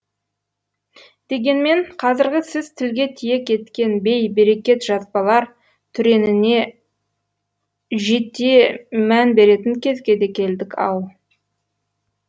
дегенмен қазіргі сіз тілге тиек еткен бей берекет жазбалар түреніне жете мән беретін кезге де келдік ау